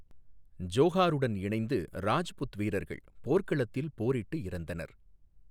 ஜோஹாருடன் இணைந்து, ராஜ்புத் வீரர்கள் போர்க்களத்தில் போரிட்டு இறந்தனர்.